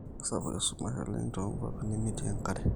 keisapuk esumash oleng too nkuapi nemetii enkare